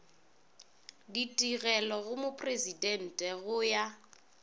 ditigelo go mopresidente go ya